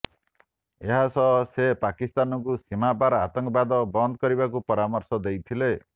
ଏହାସହ ସେ ପାକିସ୍ତାନକୁ ସୀମାପାର ଆତଙ୍କବାଦ ବନ୍ଦ କରିବାକୁ ପରାମର୍ଶ ଦେଇଥିଲେ